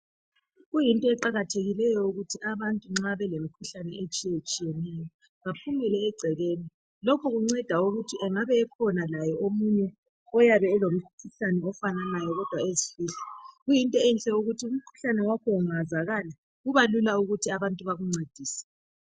Kuyinto eqakathekileyo ukuthi abantu nxa belemikhuhlane etshiyetshiyeneyo baphumele egcekeni .Lokhu kunceda ukuthi angabe ekhona laye omunye oyabe elomkhuhlane ofananayo kodwa ezifihla. Kuyinto enhle ukuthi umkhuhlane wakho ungazakala kuba lula ukuthi abantu bakuncedise